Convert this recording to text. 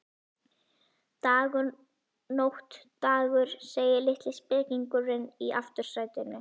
Dagur, nótt, dagur, segir litli spekingurinn í aftursætinu.